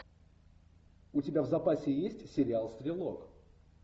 у тебя в запасе есть сериал стрелок